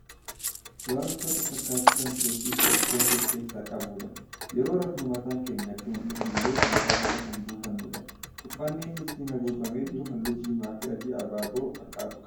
Waan uffata fakkaatu Kan keessi Isaa ispoonjii of keessaa qabudha. yeroo rafnu mataan keenya Akka hin dhundhulleef mataa Jala Kan buufannuudha. uffànni inni ittiin haguugamee jiru halluu diimaa Fi adii abaaboo fakkaatu qaba.